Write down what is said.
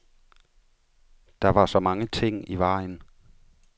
Der var så mange ting i vejen.